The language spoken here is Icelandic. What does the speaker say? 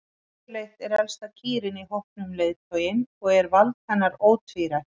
Yfirleitt er elsta kýrin í hópnum leiðtoginn og er vald hennar ótvírætt.